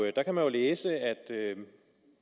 der kan man jo læse at